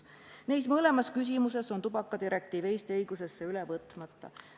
Neis mõlemas küsimuses on tubakadirektiiv Eesti õigusesse üle võtmata.